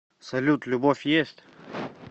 салют любовь есть